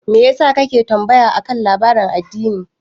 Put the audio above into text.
Me yasa kake tambaya akan labarin addini?